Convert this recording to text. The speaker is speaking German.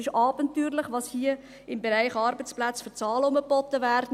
Es ist abenteuerlich, was hier im Bereich der Arbeitsplätze für Zahlen herumgeboten werden.